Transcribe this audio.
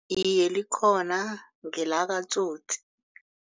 Iye, likhona ngelakaTsotsi.